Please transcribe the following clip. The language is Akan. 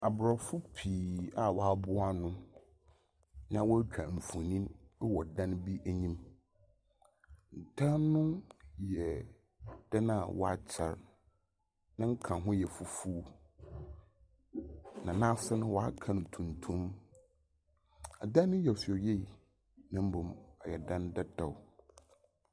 Abrɔfo pii a woaboa ano. Na wotwa mfoni ɛwɔ dan bi anim. Dan no yɛ ɔdan wakyɛ. Ne nkaho yɛ fufu. Na n'ase no w'aka no tuntum. Ɛdan no yɛ fɛw yie. Na mmom ɔyɛ dan dadaa.